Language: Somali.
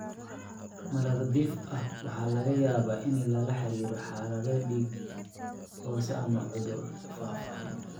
Marar dhif ah, waxaa laga yaabaa in lala xiriiriyo xaalad dhiig oo hoose ama cudur faafa.